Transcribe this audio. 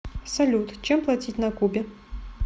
салют чем платить на кубе